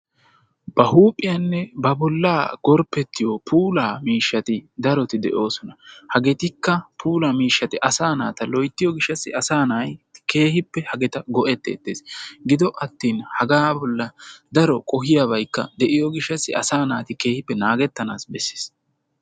Ba huuphiyanne ba bollaa gorppettiyo puula miishshati daroti de7oosona hageetikka puulaa miishshati asaa naata loyttiyo gishshataassi asaa na7ayi keehippe hagaa go7ettes. Gidoppe attin hagaa bollan daro qohiyaabaykka de7iyo gishshataassi asaa naati keehippe naagettanaassi besses